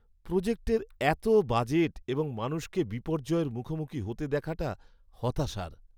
প্রোজেক্টের এত বাজেট এবং মানুষকে বিপর্যয়ের মুখোমুখি হতে দেখাটা হতাশার।